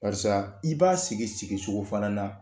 Barisa i b'a sigi sigi cogo fana na